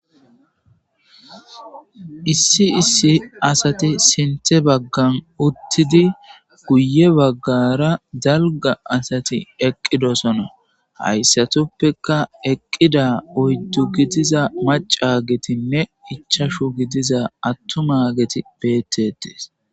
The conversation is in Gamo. Issi issi asati sinthe baggan uttidi guye baggara dalga asati eqqidosona hayssatoppeka eqqida oyddu gidiza macagetinne ichashu gidiza attuma geti beettetes